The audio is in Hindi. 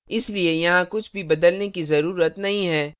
इसलिए यहाँ कुछ भी बदलने की जरूरत नहीं है